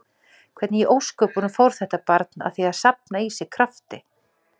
Hvernig í ósköpunum fór þetta barn að því að safna í sig krafti?